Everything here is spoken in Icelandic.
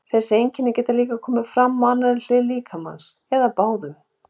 þessi einkenni geta komið fram á annarri hlið líkamans eða báðum